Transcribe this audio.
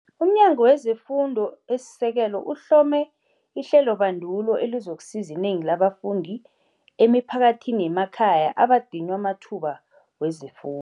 UmNyango weze Fundo esiSekelo uhlome ihlelobandulo elizokusiza inengi labafundi emiphakathini yemakhaya abadinywa amathuba wezefu